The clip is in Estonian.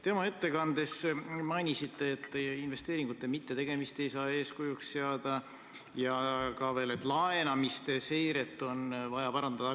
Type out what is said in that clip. Te oma ettekandes mainisite, et investeeringute mittetegemist ei saa eeskujuks seada, ja ka seda veel, et laenamise seiret on vaja parandada.